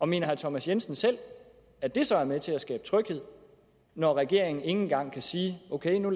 mener herre thomas jensen selv at det så er med til at skabe tryghed når regeringen ikke engang kan sige ok nu